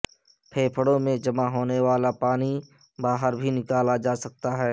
پھیپھڑوں میں جمع ہونے والا پانی باہر بھی نکالا جا سکتا ہے